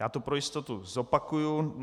Já to pro jistotu zopakuju.